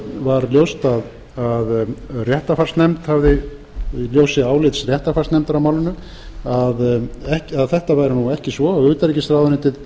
var ljóst að af ljósi réttarfarsnefndar á málinu að þetta væri ekki svo utanríkisráðuneytið